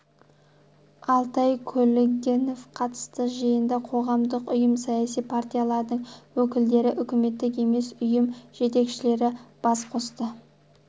алтай көлгінов қатысты жиында қоғамдық ұйым саяси партиялардың өкілдері үкіметтік емес ұйым жетекшілері бас қосты